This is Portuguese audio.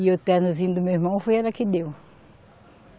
E o ternozinho do meu irmão foi ela que deu.